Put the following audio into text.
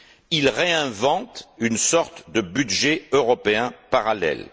Ils réinventent une sorte de budget européen parallèle.